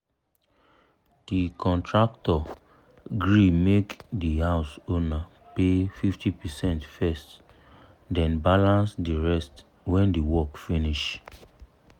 the contractor gree make the house owner pay 50 percent first then balance the rest when the work finish.